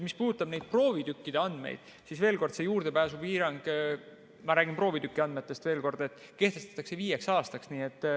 Mis puudutab neid proovitükkide andmeid, siis veel kord, see juurdepääsupiirang – ma räägin proovitüki andmetest – kehtestatakse viieks aastaks.